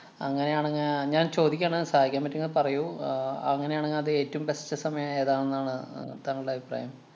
അങ്ങനെയാണങ്ങെ ഞാന്‍ ചോദിക്ക്യാണ്. സഹായിക്കാന്‍ പറ്റൂങ്കി പറയൂ. അഹ് അങ്ങനെയാണെങ്ങെ അത് ഏറ്റോം best സമയം ഏതാണെന്നാണ് താങ്കളുടെ അഭിപ്രായം.